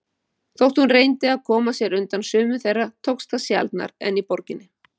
Þótt hún reyndi að koma sér undan sumum þeirra tókst það sjaldnar en í borginni.